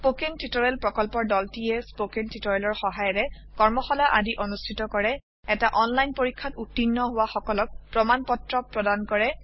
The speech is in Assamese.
স্পৌকেন টিওটৰিয়েল প্ৰকল্পৰ দলটিয়ে স্পৌকেন টিওটৰিয়েলৰ সহায়েৰে কৰ্মশালা আদি অনুষ্ঠিত কৰে এটা অনলাইন পৰীক্ষাত উত্তীৰ্ণ হোৱা সকলক প্ৰমাণ পত্ৰ প্ৰদান কৰে